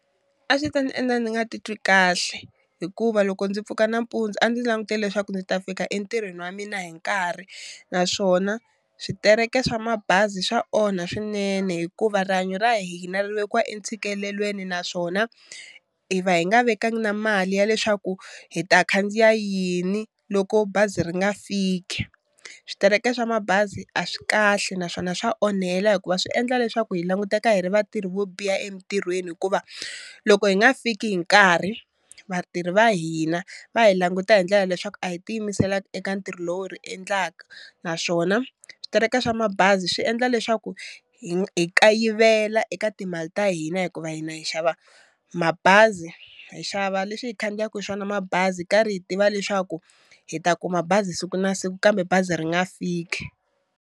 A swi ta ndzi endla ndzi nga titwi kahle hikuva loko ndzi pfuka nampundzu a ndzi langutele leswaku ndzi ta fika entirhweni wa mina hi nkarhi, naswona switereke swa mabazi swa onha swinene hikuva rihanyo ra hina ri vekiwa entshikelelweni, naswona hi va hi nga vekangi na mali ya leswaku hi ta khandziya yini loko bazi ri nga fiki. Switireke swa mabazi a swi kahle naswona swa onhela hikuva swi endla leswaku hi languteka hi ri vatirhi vo biha emintirhweni hikuva loko hi nga fiki hi nkarhi vatirhi va hina va hi languta hi ndlela leswaku a hi tiyimiselangi eka ntirho lo ri endlaka, naswona switereke swa mabazi swi endla leswaku hi kayivela eka timali ta hina hikuva hina hi xava mabazi hi xava leswi hi khandziyaku hi swona mabazi karhi hi tiva leswaku hi ta kuma bazi siku na siku kambe bazi ri nga fiki.